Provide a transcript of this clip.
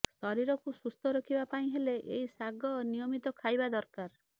ଶରୀରକୁ ସୁସ୍ଥ ରଖିବା ପାଇଁ ହେଲେ ଏହି ଶାଗ ନିୟମିତ ଖାଇବା ଦରକାର